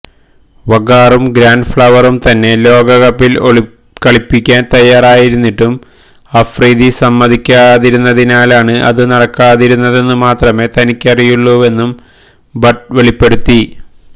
വഖാറും Grant ഫ്ളവറും തന്നെ ലോകകപ്പില് കളിപ്പിക്കാന് തയ്യാറായിരുന്നിട്ടും അഫ്രിദി സമ്മതിക്കാതിരുന്നതിലാണ് അതു നടക്കാതിരുന്നതെന്നു മാത്രമേ തനിക്കറിയുകയുള്ളൂവെന്നും ബട്ട് വെളിപ്പെടുത്തി